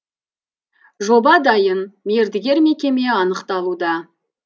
жоба дайын мердігер мекеме анықталуда